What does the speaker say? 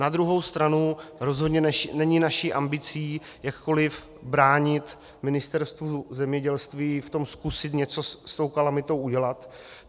Na druhou stranu rozhodně není naší ambicí jakkoliv bránit Ministerstvu zemědělství v tom zkusit něco s tou kalamitou udělat.